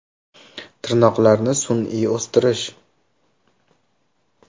Tirnoqlarni sun’iy o‘stirish.